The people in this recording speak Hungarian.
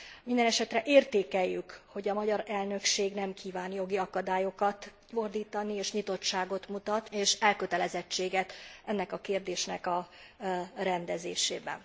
Mindenesetre értékeljük, hogy a magyar elnökség nem kíván jogi akadályokat gördíteni és nyitottságot, és elkötelezettséget mutat ennek a kérdésnek a rendezésében.